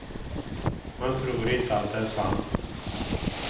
Man tror inte att det är sant.